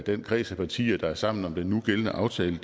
den kreds af partier der er sammen om den nugældende aftale